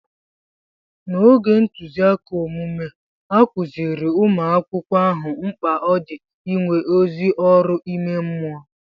N'oge ntụziaka omume, a kụziiri umu akwụkwọ ahụ mkpa ọ dị inwe ezi ọrụ ime mmụọ.